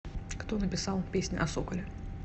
кто написал песня о соколе